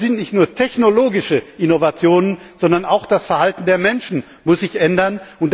Dabei geht es nicht nur um technologische Innovationen, sondern auch das Verhalten der Menschen muss sich ändern.